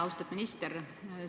Austatud minister!